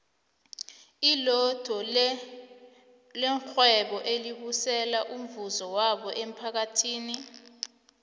ilotto levhwebo elibusela umvuzo wawo emmphakathini